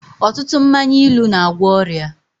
Ọtụtụ mmanya ilu n'agwọ ọrịa